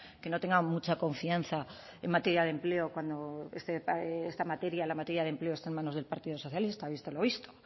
que no tenga mucha confianza en materia de empleo cuando esta materia la materia de empleo está en manos del partido socialista visto lo visto